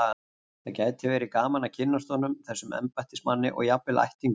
Það gæti verið gaman að kynnast honum, þessum embættismanni, og jafnvel ættingjum hans.